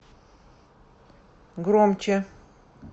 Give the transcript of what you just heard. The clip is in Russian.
громче